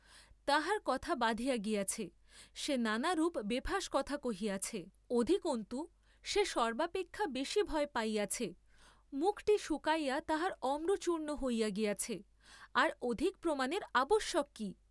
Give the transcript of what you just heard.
তাহার কথা বাধিয়া গিয়াছে, সে নানা রূপ বেফাঁস কথা কহিয়াছে, অধিকন্তু সে সর্ব্বাপেক্ষা বেশী ভয় পাইয়াছে, মুখটি শুকাইয়া তাহার আম্রচূর্ণ হইয়া গিয়াছে, আর অধিক প্রমাণের আবশ্যক কি!